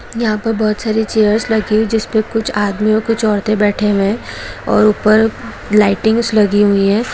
यहाँ पे बहोत सारी चेयर्स लगी हुई है जिसपे कुछ आदमी और कुछ औरतें बैठी हुए है और ऊपर लइटिंग्स लगी हुई है ।